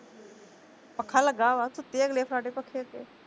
ਪੱਖਾ ਲੱਗਾ ਵਾ, ਸੁੱਤੇ ਅਗਲੇ ਫਰਾਟੇ ਪੱਖੇ ਅੱਗੇ